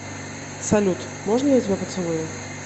салют можно я тебя поцелую